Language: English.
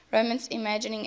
resonance imaging fmri